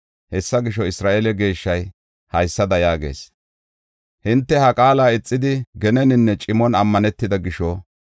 Hessa gisho, Isra7eele Geeshshay haysada yaagees: “Hinte ha qaala ixidi, geneninne cimon ammanetida gisho,